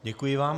Děkuji vám.